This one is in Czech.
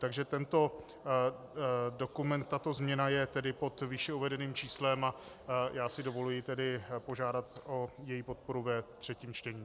Takže tento dokument, tato změna je tedy pod výše uvedeným číslem a já si dovoluji tedy požádat o její podporu ve třetím čtení.